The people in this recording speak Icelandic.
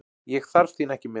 Ég þarf þín ekki með.